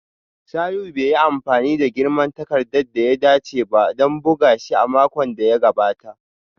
Salihu bai yi amfani da girman takarda da ya dace ba don buga shi a makon da ya gabata